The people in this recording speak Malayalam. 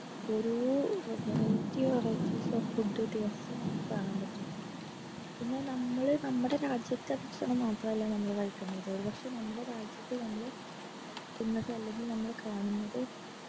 ഓരോ variety variety of food items നമുക് കാണാൻ പറ്റും പിന്നെ നമ്മള് നമ്മളെ രാജ്യത്തെ ഭക്ഷണം മാത്രമ്മൽ കഴിക്കുന്നത് ഒരു പക്ഷെ നമ്മടെ രാജ്യത്ത് നമ്മള് കഴിക്കുന്നത് അല്ലെങ്കിൽ കാണുന്നത്